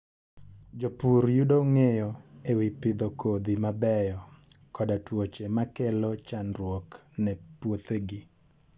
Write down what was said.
Jopur yudo ng'eyo e wi pidho kodhi mabeyo, koda tuoche makelo chandruok ne puothegi.